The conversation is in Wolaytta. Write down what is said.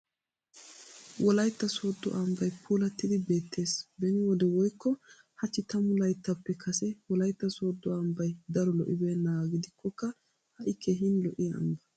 Wolaytta sooddo ambbay puullattidi beettes. Beni wode woykko hachchi tammu layttaappe Kase wolaytta sooddo ambbay daro lo'ibeennaaga gidikkokka ha'i keehin lo'iya ambba